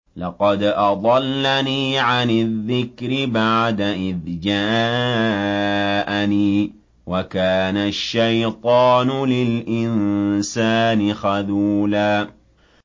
لَّقَدْ أَضَلَّنِي عَنِ الذِّكْرِ بَعْدَ إِذْ جَاءَنِي ۗ وَكَانَ الشَّيْطَانُ لِلْإِنسَانِ خَذُولًا